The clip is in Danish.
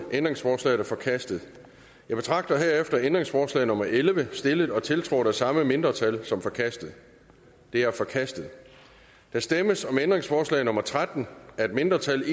ændringsforslaget er forkastet jeg betragter herefter ændringsforslag nummer elleve stillet og tiltrådt af de samme mindretal som forkastet det er forkastet der stemmes om ændringsforslag nummer tretten af et mindretal